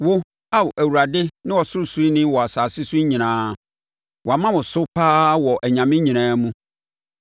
Wo, Ao Awurade ne Ɔsorosoroni wɔ asase so nyinaa; wɔama wo so pa ara wɔ anyame nyinaa mu.